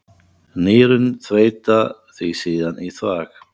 Nýrun þveita því síðan í þvag.